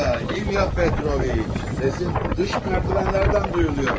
İlya Petroviç, səsin dış mərdüvenlərdən duyuluyor.